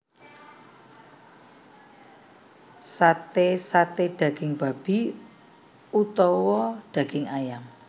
Sate saté daging babi utawa daging ayam